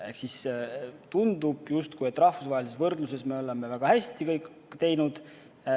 Ehk siis justkui tundub, et rahvusvahelises võrdluses me oleme teinud kõik väga hästi.